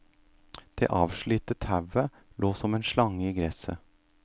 Det avslitte tauet lå som en slange i gresset.